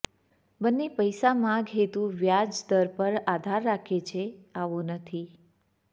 બંને પૈસા માગ હેતુ વ્યાજ દર પર આધાર રાખે છે આવો નથી